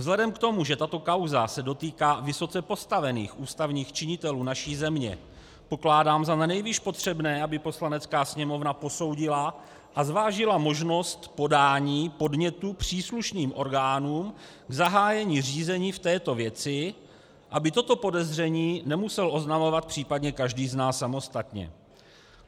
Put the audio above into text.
Vzhledem k tomu, že tato kauza se dotýká vysoce postavených ústavních činitelů naší země, pokládám za nanejvýš potřebné, aby Poslanecká sněmovna posoudila a zvážila možnost podání podnětu příslušným orgánům k zahájení řízení v této věci, aby toto podezření nemusel oznamovat případně každý z nás samostatně.